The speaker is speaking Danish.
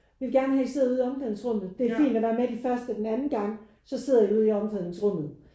Vi vil gerne have I sidder ude i omklædningsrummet. Det er fint at være med de første den anden gang så sidder I ude i omklædningsrummet